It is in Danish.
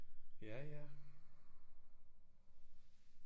Ja ja